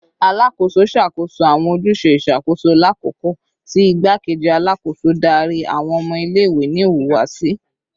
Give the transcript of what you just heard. Alakoso ṣakoso awọn ojuse iṣakoso lakoko ti Igbakeji Alakoso dari awọn ọmọ ile-iwe ni ihuwasi